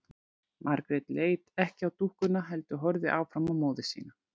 Margrét leit ekki á dúkkuna heldur horfði áfram á móður sína.